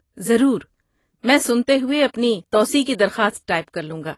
ضرور، میں سنتے ہوئے اپنی توسیع کی درخواست ٹائپ کر لوں گا۔